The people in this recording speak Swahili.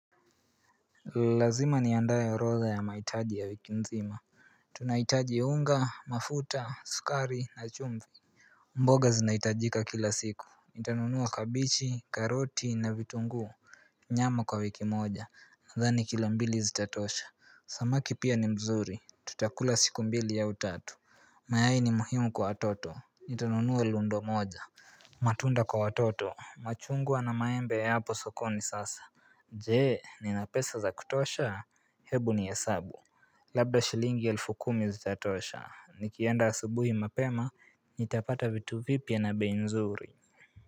Lazima niandae orodha ya mahitaji ya wiki mzima Tunahitaji unga, mafuta, sukari, na chumvi mboga zinahitajika kila siku, nitanunua kabeji, karoti na vitunguu Nyama kwa wiki moja, nadhani kilo mbili zitatosha Samaki pia ni mzuri, tutakula siku mbili au tatu mayai ni muhimu kwa watoto, nitanunua rundo moja matunda kwa watoto, machungwa na maembe hayapo sokoni sasa Je ni na pesa za kutosha hebu nihesabu Labda shilingi elfu kumi zitatosha nikienda asubuhi mapema Nitapata vitu vipya na bei nzuri.